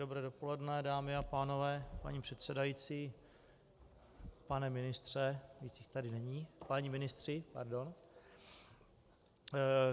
Dobré dopoledne, dámy a pánové, paní předsedající, pane ministře - víc jich tady není - páni ministři, pardon.